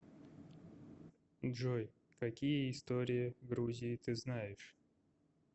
джой какие история грузии ты знаешь